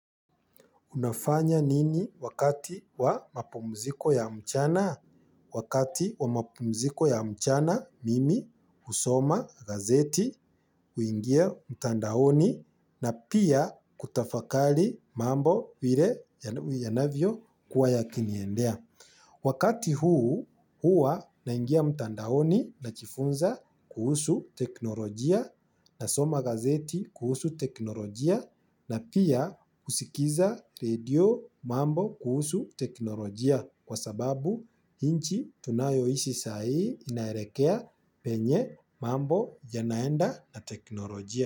Unafanya nini wakati wa mapumziko ya mchana? Wakati wa mapumziko ya mchana mimi husoma gazeti huingia mtandaoni na pia kutafakari mambo vile yanavyo kuwa yakiniendea. Wakati huu hua naingia mtandaoni najifunza kuhusu teknolojia nasoma gazeti kuhusu teknolojia na pia husikiza redio mambo kuhusu teknolojia kwa sababu nchi tunayo ishi sai inaelekea penye mambo yanaenda na teknolojia.